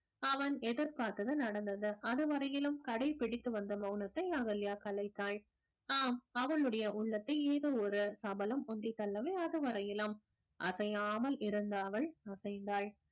அவன் எதிர்பார்த்தது நடந்தது. அது வரையிலும் கடைப்பிடித்து வந்த மௌனத்தை அகல்யா கலைத்தால் ஆம் அவளுடைய உள்ளத்தை ஏதோ ஒரு சபலம் உந்தித்தள்ளவே அதுவரையிலும் அசையாமல் இருந்த அவள் அசைந்தாள்